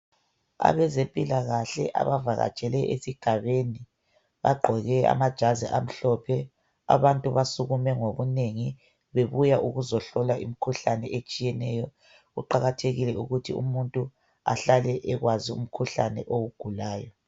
Abezempilakahle abavakatshele ezigabeni bagqoke amajazi amhlophe, abantu basukume ngobunengi bebuya ukuzohlolwa imikhuhlane etshiyeneyo, kuqakathekile ukuthi umuntu ahlale ewazi umkhuhlane awugulayo.